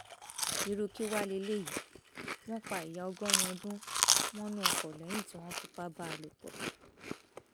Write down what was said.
irú kí wàá lélẹyìí wọn pa ìyá ọgọrin ọdún mọnú ọkọ lẹyìn tí wọn fipá bá a lò pọ